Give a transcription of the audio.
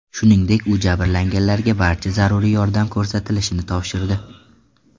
Shuningdek, u jabrlanganlarga barcha zaruriy yordam ko‘rsatilishini topshirdi.